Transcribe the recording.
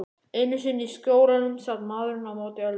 Einu sinni í Skjólunum sat maðurinn á móti Öldu.